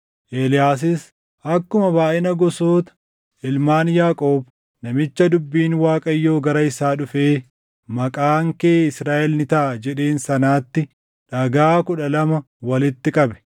Eeliyaasis akkuma baayʼina gosoota ilmaan Yaaqoob namicha dubbiin Waaqayyoo gara isaa dhufee, “Maqaan kee Israaʼel ni taʼa” jedheen sanaatti dhagaa kudha lama walitti qabe.